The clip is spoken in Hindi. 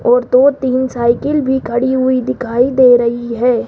और दो तीन साइकिल भी खड़ी हुई दिखाई दे रही है।